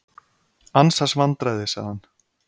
Ansans vandræði sagði hann.